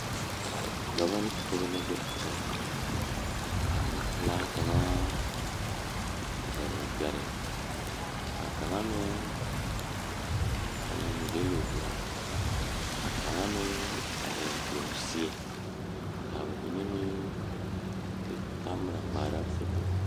Dɔba ne Pɔgeba la be a kyɛ kaa nempelaa kaŋa a zele o gbɛre kaa kaŋa meŋ a meŋ gele o gbɛɛ kaa kaŋa meŋ a leɛ goɔ o seɛ kaa ba mine meŋ de kamera ŋmaara foto